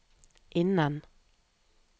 innen